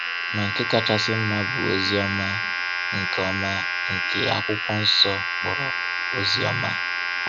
Ma nke kachasị mma bụ ozi ọma, nke ọma, nke Akwụkwọ Nsọ kpọrọ Oziọma.